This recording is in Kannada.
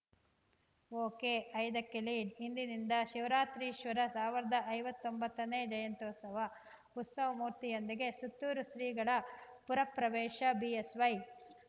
ಒಕೆ ಐದಕ್ಕೆ ಲೀಡ್‌ಇಂದಿನಿಂದ ಶಿವರಾತ್ರೀಶ್ವರರ ಸಾವಿರದ ಐವತ್ತೊಂಬತ್ತನೇ ಜಯಂತ್ಯುತ್ಸವ ಉತ್ಸವಮೂರ್ತಿಯೊಂದಿಗೆ ಸುತ್ತೂರು ಶ್ರೀಗಳ ಪುರಪ್ರವೇಶ ಬಿಎಸ್‌ವೈ